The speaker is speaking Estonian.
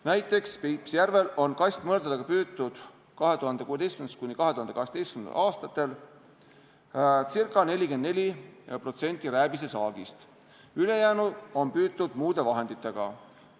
Näiteks, Peipsi järvel on kastmõrdadega püütud 2016.–2017. aastal ca 44% rääbisesaagist, ülejäänu on püütud muude vahenditega.